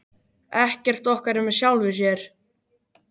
Ekkert okkar er með sjálfu sér.